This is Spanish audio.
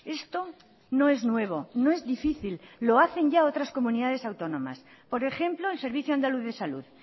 esto no es nuevo no es difícil lo hacen ya otras comunidades autónomas por ejemplo el servicio andaluz de salud